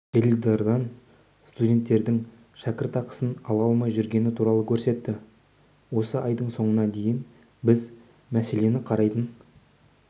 теледидардан студенттердің шәкіртақысын ала алмай жүргені туралы көрсетті осы айдың соңына дейін біз мәселені қарайтын